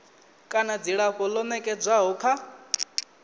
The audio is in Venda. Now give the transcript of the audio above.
kana dzilafho ḽo nekedzwaho kha